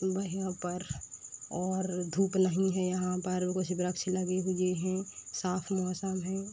ब यहाँ पर और धुप नहीं है यहाँ पर कुछ वृक्ष लगे हुए हैं। साफ़ मौसम हैं।